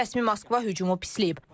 Rəsmi Moskva hücumu pisləyib.